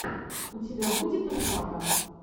у тебя будет ржака